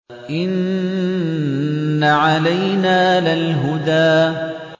إِنَّ عَلَيْنَا لَلْهُدَىٰ